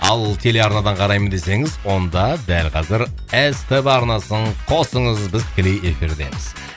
ал телеарнадан қараймын десеңіз онда дәл қазір ств арнасын қосыңыз біз тікелей эфирдеміз